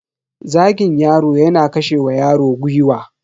Zagin yaro yana kashe wa yaro gwiwa.